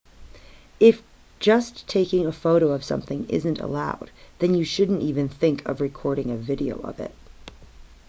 if just taking a photo of something isn't allowed then you shouldn't even think of recording a video of it